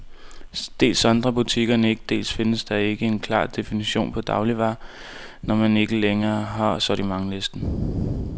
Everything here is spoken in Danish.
Dels sondrer butikkerne ikke, dels findes der ikke en klar definition på dagligvarer, når man ikke længere har sortimentslisten.